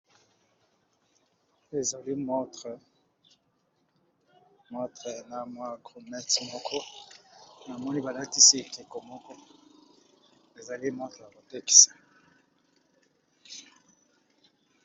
ezali motre na mwa groonet moko na moni balatisi ete komoke ezali motre ya protexe